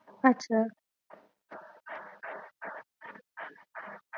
আচ্ছা